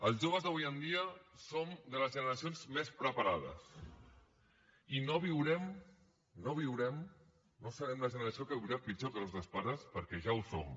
els joves d’avui en dia som de les generacions més preparades i no viurem no viurem no serem la generació que viurà pitjor que els nostres pares perquè ja ho som